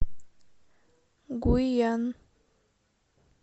гуйян